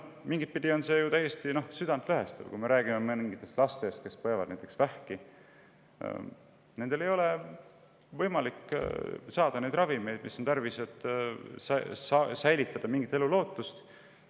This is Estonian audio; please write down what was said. Mingitpidi on see ju täiesti südantlõhestav, kui me näiteks laste peale, kes põevad vähki ja kellel ei ole võimalik saada ravimeid, mida on tarvis, et säilitada mingitki elulootust.